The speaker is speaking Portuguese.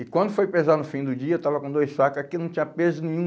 E quando foi pesar no fim do dia, eu estava com dois sacos, aquilo não tinha peso nenhum.